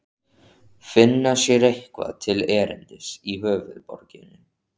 Finna sér eitthvað til erindis í höfuðborginni?